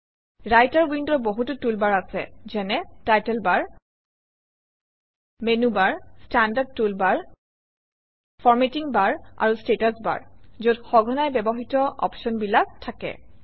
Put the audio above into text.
writer উইণ্ডৰ বহুতো tool bar আছে যেনে title bar menu bar standard toolbar formatting bar আৰু ষ্টেটাচ বাৰ যত সঘনাই ব্যৱহৃত অপশ্যনবিলাক থাকে